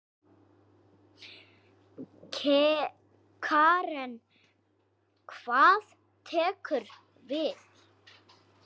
Karen: Hvað tekur við?